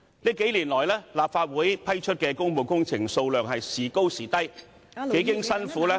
這數年來，立法會批出的工務工程數量時高時低，幾經辛苦......